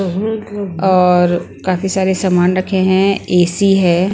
और काफी सारे सामान रखे हैं एसी हैं ।